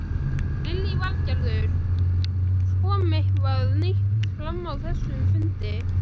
Lillý Valgerður: Kom eitthvað nýtt fram á þessum fundi?